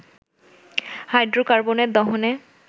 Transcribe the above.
হাইড্রোকার্বনের দহনে